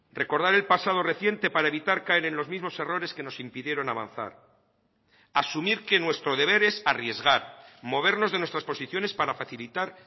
recordar el pasado reciente para evitar caer en los mismos errores que nos impidieron avanzar asumir que nuestro deber es arriesgar movernos de nuestras posiciones para facilitar